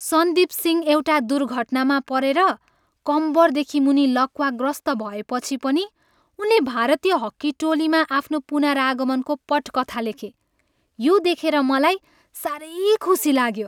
सन्दिप सिंह एउटा दुर्घटना परेर कम्मरदेखि मुनि लकवाग्रस्त भएपछि पनि उनले भारतीय हक्की टोलीमा आफ्नो पुनरागमनको पटकथा लेखे। यो देखेर मलाई साह्रै खुसी लाग्यो।